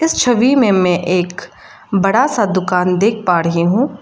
छवि में मैं एक बड़ा सा दुकान देख पा रही हूं।